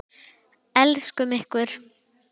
Brúður, söngur og sögur.